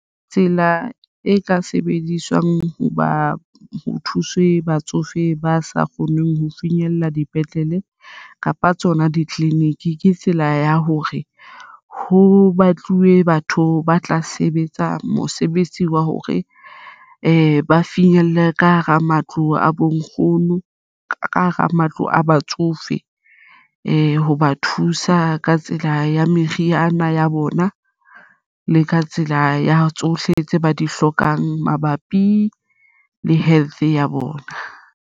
Tsela e ka sebediswang ho ba ho thuswe batsofe ba sa kgoneng ho finyella dipetlele kapa tsona ditleliniki ke tsela ya hore ho batluwe batho ba tla sebetsa mosebetsi wa hore ba finyelle ka hara matlo a bonkgono ka hara matlo a batsofe ho ba thusa ka tsela ya meriana ya bona le ka tsela ya tsohle tse ba di hlokang mabapi le health ya bona.